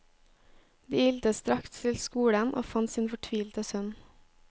De ilte straks til skolen og fant sin fortvilte sønn.